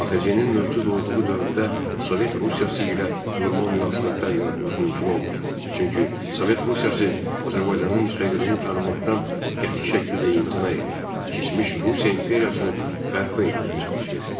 ADR-in mövcud olduğu dövrdə Sovet Rusiyası ilə normal münasibətlər yaratmaq mümkün olmadı, çünki Sovet Rusiyası Azərbaycanın müstəqilliyini tanımaqdan qəti şəkildə imtina edir, keçmiş Rusiya imperiyasını bərpa etməyə çalışırdı.